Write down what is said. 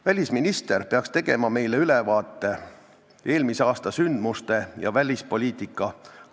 Välisminister oleks pidanud tegema meile ülevaate eelmise aasta sündmustest välispoliitikas.